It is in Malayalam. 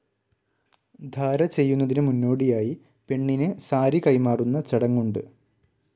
ധാര ചെയ്യുന്നതിന് മുന്നോടിയായി പെണ്ണിന് സാരി കൈമാറുന്ന ചടങ്ങുണ്ട്.